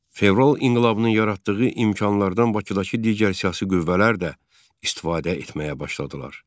Fevral inqilabının yaratdığı imkanlardan Bakıdakı digər siyasi qüvvələr də istifadə etməyə başladılar.